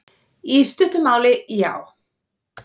Í stuttu máli, já.